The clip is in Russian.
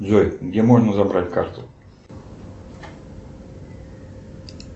джой где можно забрать карту